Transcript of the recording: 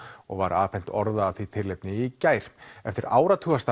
og var afhent orða af því tilefni í gær eftir áratugastarf